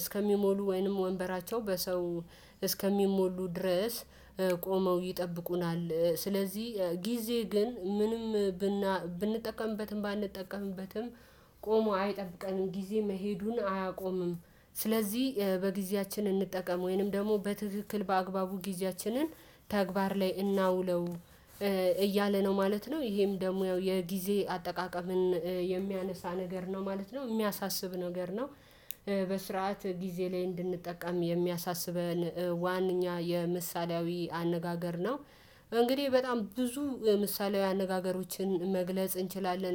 እስከሚሞሉ ወይንም ወንበራቸው በሰው እስከሚሞሉ ድረስ ቆመው ይጠብቁናል። ስለዚህ ጊዜ ግን ምንም ብና ብንጠቀምበትም ባንጠቀምበትም ቆሞ አይጠብቀንም ጊዜ መሄዱን አያቆምም። ስለዚህ በጊዜያችን እንጠቀም ወይንም ደግሞ በትክክል በአግባቡ ጊዜያችንን ተግባር ላይ እናውለው። እያለ ነው ማለት ነው ይሄም ደግሞ ያው የጊዜ አጠቃቀምን የሚያነሳ ነገር ነው ማለት ነው እሚያሳስብ ነገር ነው። በስርዓት ጊዜ ላይ እንድንጠቀም የሚያሳስበን ዋነኛ የምሳሌያዊ አነጋገር ነው እንግዲህ በጣም ብዙ ምሳሌያዊ አነጋገሮችን መግለጽ እንችላለን